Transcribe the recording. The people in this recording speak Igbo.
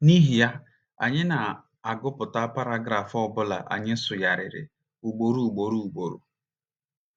N’ihi ya, anyị na - agụpụta paragraf ọ bụla anyị sụgharịrị ugboro ugboro ugboro.